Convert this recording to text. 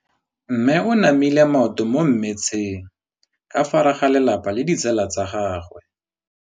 Mme o namile maoto mo mmetseng ka fa gare ga lelapa le ditsala tsa gagwe.